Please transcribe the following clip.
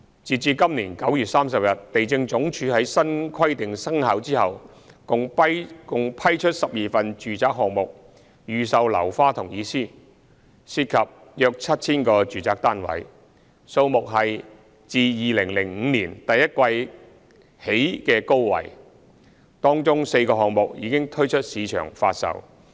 新規定生效後，地政總署在今年第三季共批出12份住宅項目預售樓花同意書，涉及約 7,000 個住宅單位，批出單位數目是自2005年第一季以來的高位，當中4個項目已推出市場發售。